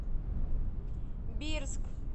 бирск